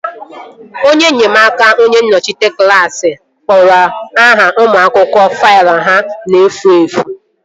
Onye nnyemaaka onye nnọchiteanya klaasị kporo aha ụmụ akwụkwọ faịlụ ha na-efu efu